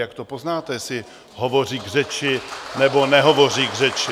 Jak to poznáte, jestli hovoří k řeči , nebo nehovoří k řeči ?